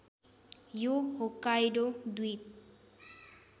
यो होक्काइडो द्वीप